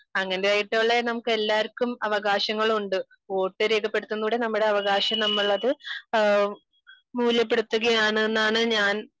അങ്ങനെ ആയിട്ടുള്ള നമുക്ക് എല്ലാവര്ക്കും അവകാശങ്ങൾ ഉണ്ട് . വോട്ട് രേഖപ്പെടുത്തുന്നതിലൂടെ നമ്മുടെ അവകാശം നമ്മൾ അത് മൂല്യപ്പെടുത്തുകയാണെന്നാണ് ഞാൻ